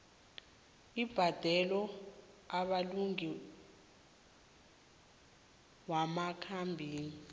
abhadelwa amalunga wamakampani